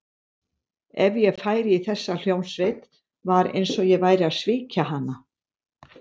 Ef ég færi í þessa hljómsveit, var eins og ég væri að svíkja hana.